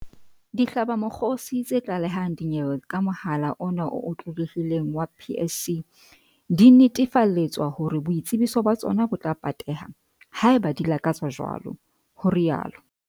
Dihlabamokgosi tse tla lehang dinyewe ka mohala ona o otlolohileng wa PSC di netefaletswa hore boitsebiso ba tsona bo tla pateha, haeba di lakatsa jwalo, ho rialo